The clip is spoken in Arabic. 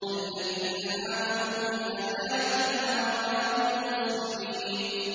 الَّذِينَ آمَنُوا بِآيَاتِنَا وَكَانُوا مُسْلِمِينَ